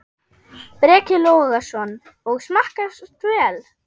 Breki Logason: Og smakkast vel?